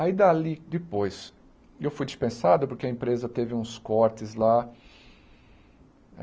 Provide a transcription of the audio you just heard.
Aí, dali, depois, eu fui dispensado porque a empresa teve uns cortes lá.